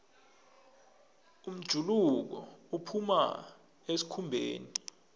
umjuluko uphuma esikhumbeni